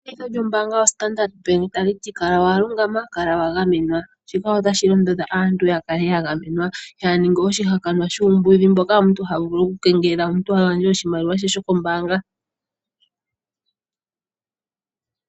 Etseyitho lyombaanga yoStandard Bank tali ti kala wa lungama, kala wa gamenwa. Shika otashi londodha aantu yaa ninge oshihakanwa shuumbudhi mboka omuntu ha vulu okukengelelwa a gandje oshimaliwa she shokombaanga.